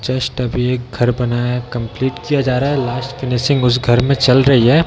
Just अभी एक घर बना है कंप्लीट किया जा रहा है लास्ट फिनिशिंग उस घर में चल रही है।